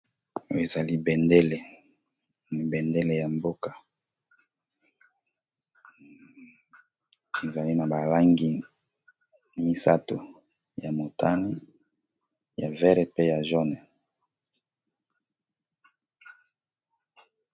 Oyo ezali bendele, bendele ya mboka ezali na ba langi misato ya motani, ya vert pe ya jaune.